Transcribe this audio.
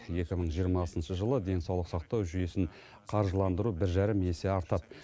екі мың жиырмасыншы жылы денсаулық сақтау жүйесін қаржыландыру бір жарым есе артады